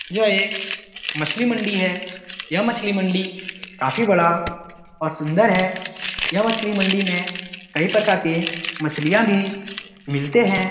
यह एक मछली मंडी है यह मछली मंडी काफी बड़ा और सुंदर है यह मछली मंडी में कई प्रकार के मछलियाँ भी मिलते हैं।